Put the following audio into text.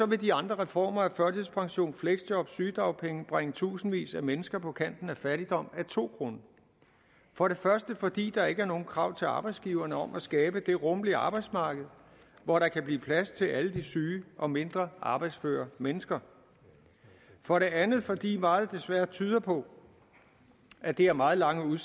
vil de andre reformer af førtidspension fleksjob sygedagpenge bringe tusindvis af mennesker på kanten af fattigdom af to grunde for det første fordi der ikke er nogen krav til arbejdsgiverne om at skabe det rummelige arbejdsmarked hvor der kan blive plads til alle de syge og mindre arbejdsføre mennesker for det andet fordi meget desværre tyder på at det har meget lange